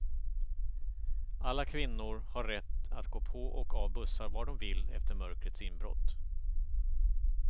Alla kvinnor har rätt att gå på och av bussar var de vill efter mörkrets inbrott.